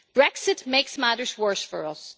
Brexit makes matters worse for us.